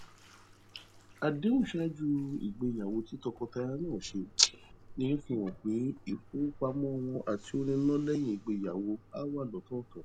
àdéhùn ṣáájú ìgbéyàwó tí tọkọtaya náà ṣe fi han pe ifowopamọ wọn ati owo nina leyin igbeyawọṣe a wa lọtọọtọ